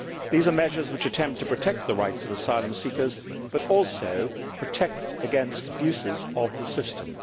These are measures which attempt to protect the rights of asylum seekers but also protect against abuses of the system.